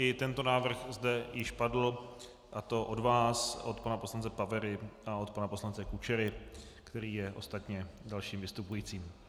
I tento návrh zde již padl, a to od vás, od pana poslance Pavery a od pana poslance Kučery, který je ostatně dalším vystupujícím.